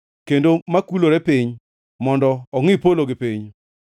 kendo makulore piny mondo ongʼi polo gi piny?